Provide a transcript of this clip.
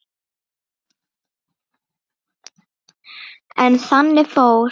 En þannig fór.